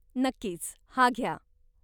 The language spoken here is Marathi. नक्कीच. हा घ्या.